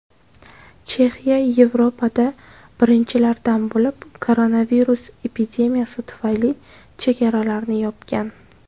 Chexiya Yevropada birinchilardan bo‘lib koronavirus epidemiyasi tufayli chegaralarini yopgan.